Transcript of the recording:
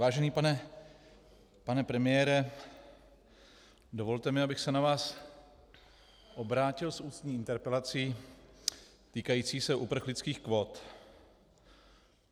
Vážený pane premiére, dovolte mi, abych se na vás obrátil s ústní interpelací týkající se uprchlických kvót.